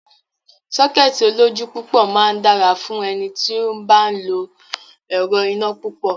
Sọ́kẹ́ẹ̀tì olójú púpọ̀ máa dára fún ẹni tí ó bá ń lo ẹrọ̀ iná púpọ̀.